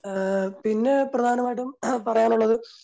ആഹ് പിന്നെ പ്രധാനമായിട്ടും പറയാനുള്ളത്